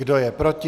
Kdo je proti?